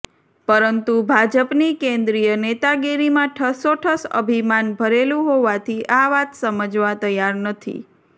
પરંતુ ભાજપની કેન્દ્રીય નેતાગીરીમાં ઠસોઠસ અભિમાન ભરેલું હોવાથી આ વાત સમજવા તૈયાર નથી